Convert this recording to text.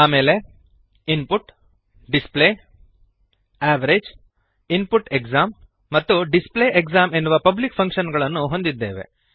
ಆಮೇಲೆ input display average input exam ಮತ್ತು display exam ಎನ್ನುವ ಪಬ್ಲಿಕ್ ಫಂಕ್ಶನ್ ಗಳನ್ನು ಹೊಂದಿದ್ದೇವೆ